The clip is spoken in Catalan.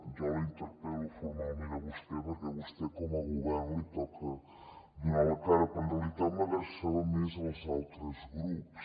jo la interpel·lo formalment a vostè perquè a vostè com a govern li toca donar la cara però en realitat m’adreçava més als altres grups